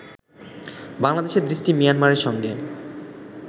বাংলাদেশের দৃষ্টি মিয়ানমারের সঙ্গে